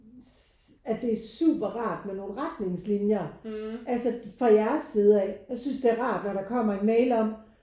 At det er super rart med nogen retningslinjer altså for jeres side af. Jeg synes det er rart når der kommer en mail om